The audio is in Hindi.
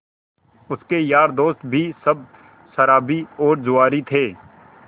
उसके यार दोस्त भी सब शराबी और जुआरी थे